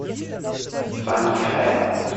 саньхэ